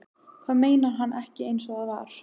Hvað meinar hann ekki einsog það var?